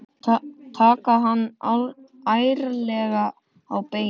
Taka hann ærlega á beinið.